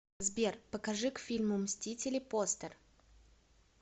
сбер покажи к фильму мстители постер